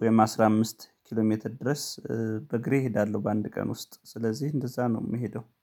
ወይም አስራ አምስት ኪሎሜትር ድረስ በእግሬ እሔዳአለሁ በአንድ ቀን ውስጥ ስለዚህ እንደዛ ነው የምሔደው